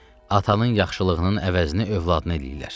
Atanın yaxşılığının əvəzini övladına eləyirlər.